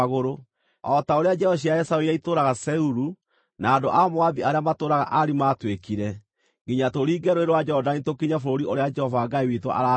o ta ũrĩa njiaro cia Esaũ iria itũũraga Seiru, na andũ a Moabi arĩa matũũraga Ari maatwĩkire, nginya tũringe Rũũĩ rwa Jorodani tũkinye bũrũri ũrĩa Jehova Ngai witũ araatũhe.”